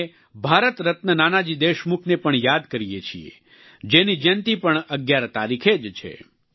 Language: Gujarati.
આપણે ભારત રત્ન નાનાજી દેશમુખને પણ યાદ કરીએ છીએ જેની જયંતિ પણ 11 તારીખે જ છે